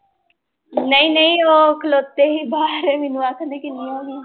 ਨਹੀਂ ਨਹੀਂ ਉਹ ਖਲੋਤੇ ਸੀ ਬਾਹਰ ਮੈਨੂੰ ਆਖਦੇ